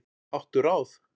Áttu ráð?